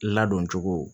Ladon cogo